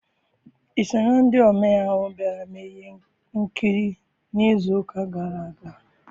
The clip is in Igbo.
I so na ndị omee ahụ bịara mee ihe nkiri n'izu ụka gara aga?